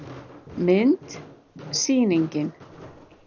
Mynd: Sýningin.